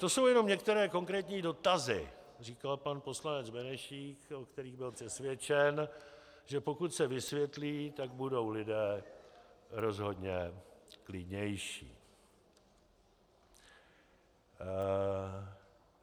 To jsou jenom některé konkrétní dotazy, říkal pan poslanec Benešík, o kterých byl přesvědčen, že pokud se vysvětlí, tak budou lidé rozhodně klidnější.